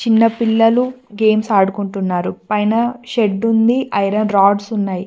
కింద పిల్లలు గేమ్స్ ఆడుకుంటున్నారు పైన షెడ్ ఉంది ఐరన్ రాడ్స్ ఉన్నాయి.